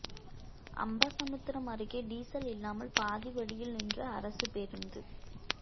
அம்பாசமுத்திரம் அருகே டீசல் இல்லாமல் பாதி வழியில் நின்ற அரசு பேருந்து